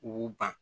K'u ban